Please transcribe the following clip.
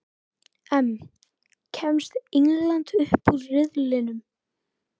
EM: Kemst England upp úr riðlinum?